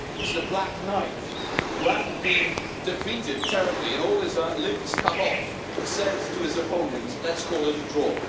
It is the Black Knight, who, after being defeated terribly and all his limbs cut off, says to his opponent Let's call it a draw'.